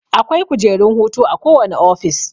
Akwai kujerun hutu a kowane office